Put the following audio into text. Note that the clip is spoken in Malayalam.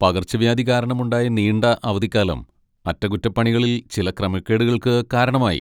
പകർച്ചവ്യാധി കാരണമുണ്ടായ നീണ്ട അവധിക്കാലം അറ്റകുറ്റപ്പണികളിൽ ചില ക്രമക്കേടുകൾക്ക് കാരണമായി.